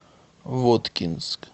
воткинск